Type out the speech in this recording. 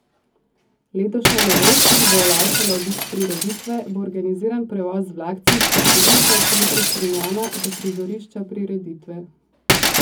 Letošnja novost, ki bo olajšala obisk prireditve, bo organiziran prevoz z vlakcem s parkirišča v centru Strunjana do prizorišča prireditve.